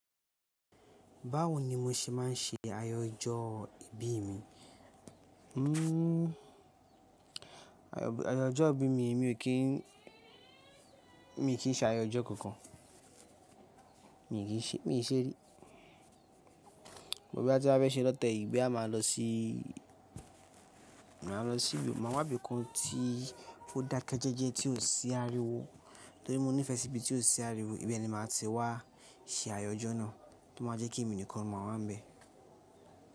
Báwo ni mo ṣe máa ń ṣe ayọjọ́ ibí mi? Hmm ayọjọ́ ibí mi, mi ò kí n, mi ò kí ń ṣe ayọjọ́ kankan. Mi kí ń ṣe, mi nṣe rí. But boya tí n bá fẹ́ ṣe lọ́tẹ̀ yìí boya máa lọ sí, máa lọ sí ibi, máa wá bí kan tí o dakẹ jẹ́ẹ́jẹ́ tí ò sí ariwo. Torí mo nífẹsí ibi tí ò sí ariwo, ibẹ̀ ni màá ti wá ṣe ayọjọ́ náà. To máa jẹ́ kí èmi nìkan ma wa nbẹ.